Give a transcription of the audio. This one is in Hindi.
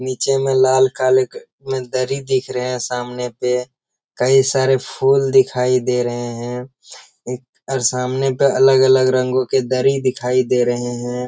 नीचे में लाल काल के में दरी दिख रहे हैं सामने पे कई सारे फूल दिखाई दे रहे हैं और सामने पर अलग-अलग रंगों के दरी दिखाई दे रहे हैं ।